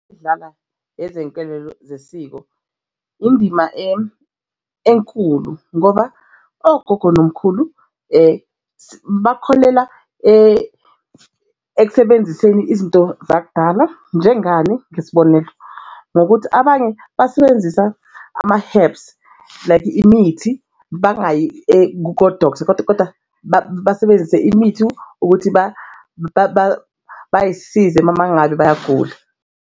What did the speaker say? Edlala ezezinselelo zesiko indima enkulu ngoba ogogo nomkhulu bakholela ekusebenziseni izinto zakudala njengani ngesibonelo ngokuthi abanye basebenzisa ama-herbs like imithi bangayi ko-doctor kodwa kodwa basebenzise imithi ukuthi bayisize uma ngabe bayagula.